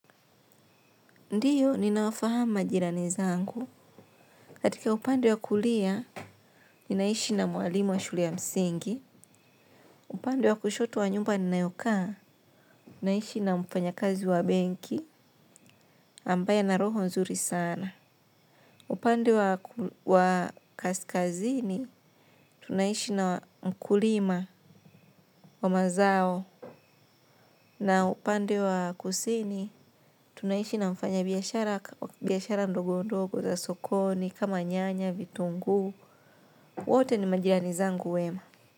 Ndiyo, ninawafahamu majirani zangu. Katika upande wa kulia, ninaishi na mwalimu wa shule ya msingi. Upande wa kushoto wa nyumba ninayoka, ninaishi na mfanyi kazi wa benki ambaye ana roho nzuri sana. Upande wa kaskazini, tunaishi na mkulima wa mazao. Na upande wa kusini, tunaishi na mfanyi biashara ndogo ndogo za sokoni kama nyanya, vitungu. Wote ni majirani zangu wema.